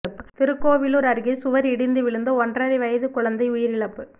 திருக்கோவிலூர் அருகே சுவர் இடிந்து விழுந்து ஒன்றரை வயது குழந்தை உயிரிழப்பு